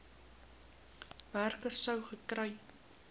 werker sou gekry